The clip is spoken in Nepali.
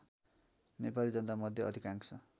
नेपाली जनतामध्ये अधिकांश